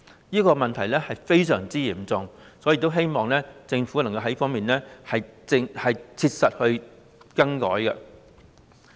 這個問題非常嚴重，因此我希望政府能夠在這方面切實作出改變。